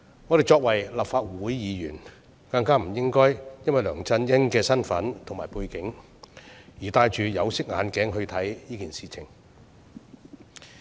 我們身為立法會議員，更不應該因為梁振英的身份和背景，而戴着有色眼鏡來看這件事。